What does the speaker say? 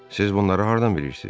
Siz bunları hardan bilirsiz?